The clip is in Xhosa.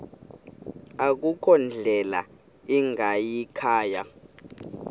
akukho ndlela ingayikhaya